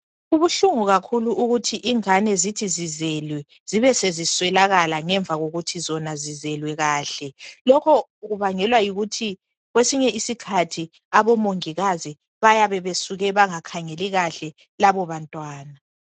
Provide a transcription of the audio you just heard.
Kubuhlungu kakhulu ukuthi ingane zithi zizelwe, zibe sezisweleka ngemva kokuthi zona zizelwe kahle. Lokho kubangelwa yikuthi kwesinye isikhathi abomongikazi bayabe besuke bangakhangeli kahle labo abantwana.